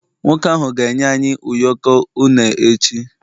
nwoke ahu ga enye anyi ụyọkọ une echi